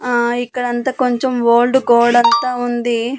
ఆ ఇక్కడంతా కొంచెం ఓల్డ్ గోడంతా ఉంది.